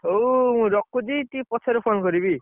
ହଉ ମୁଁ ରଖୁଛି ଟିକେ ପଛରେ phone କରିବି।